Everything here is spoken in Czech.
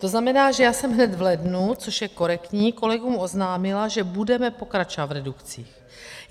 To znamená, že já jsem hned v lednu, což je korektní, kolegům oznámila, že budeme pokračovat v redukcích.